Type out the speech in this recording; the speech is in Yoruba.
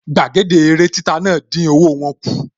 Gbàgede eré títa náà dín owó wọ́n kù